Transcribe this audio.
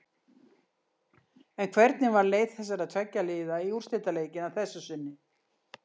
En hvernig var leið þessara tveggja liða í úrslitaleikinn að þessu sinni?